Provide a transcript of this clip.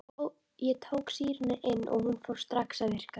Ég tók sýruna inn og hún fór strax að virka.